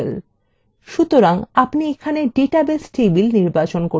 সুতরাং আপনি এখানে ডাটাবেস table নির্বাচন করতে পারেন